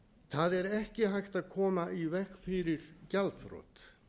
það er ekki hægt að komna í veg fyrir gjaldþrot